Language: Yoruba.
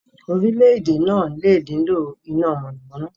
Orílẹ̀-èdè náà lè nílò iná mọ̀nàmọ́ná.